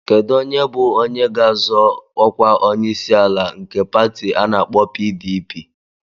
Kedu onye bụ onye ga-azọ ọkwa onyeisiala nke pati ana-akpo PDP?